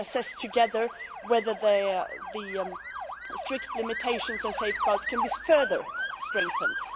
We can assess together whether the strict limitations and safeguards can be further strengthened.